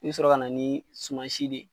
I bi sɔrɔ ka na ni suman si de